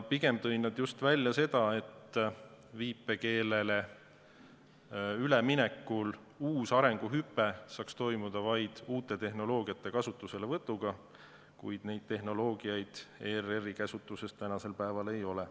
Pigem tõid nad just välja selle, et viipekeelele üleminekul saaks uus arenguhüpe toimuda vaid uute tehnoloogiate kasutuselevõtuga, kuid neid tehnoloogiaid ERR-i käsutuses tänasel päeval ei ole.